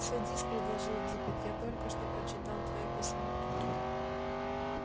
садись предложил диппет я только что прочитал твоё письмо